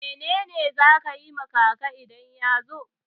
Mene ne za ka yi ma kaka idan ya zo?